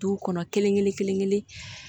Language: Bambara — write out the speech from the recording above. Duw kɔnɔ kelen kelen kelen kelen